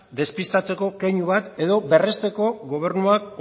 despistatzeko keinu bat edo berresteko gobernuak